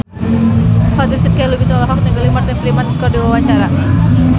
Fatin Shidqia Lubis olohok ningali Martin Freeman keur diwawancara